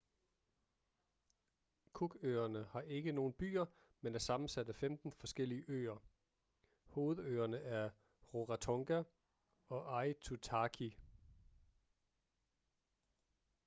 cook-øerne har ikke nogen byer men er sammensat af 15 forskellige øer hovedøerne er rarotonga og aitutaki